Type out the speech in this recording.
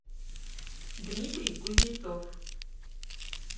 дмитрий кузнецов